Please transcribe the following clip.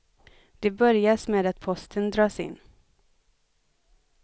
Det börjas med att posten dras in.